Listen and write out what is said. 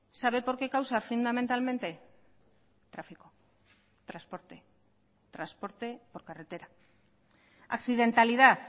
sabe por qué causa fundamentalmente tráfico transporte transporte por carretera accidentalidad